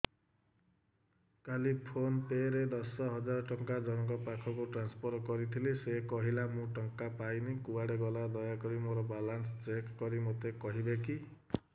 କାଲି ଫୋନ୍ ପେ ରେ ଦଶ ହଜାର ଟଙ୍କା ଜଣକ ପାଖକୁ ଟ୍ରାନ୍ସଫର୍ କରିଥିଲି ସେ କହିଲା ମୁଁ ଟଙ୍କା ପାଇନି କୁଆଡେ ଗଲା ଦୟାକରି ମୋର ବାଲାନ୍ସ ଚେକ୍ କରି ମୋତେ କହିବେ କି